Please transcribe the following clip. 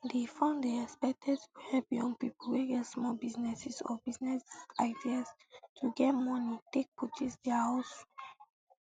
di fund dey expected to help young pipo wey get small businesses or business ideas to get moni take pursue dia hustle um